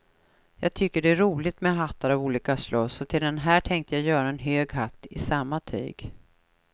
Jag tycker att det är roligt med hattar av olika slag så till den här tänkte jag göra en hög hatt i samma tyg.